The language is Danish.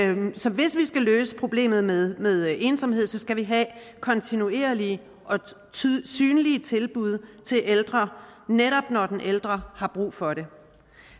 hvis vi skal løse problemet med med ensomhed skal vi have kontinuerlige og synlige tilbud til ældre netop når den ældre har brug for det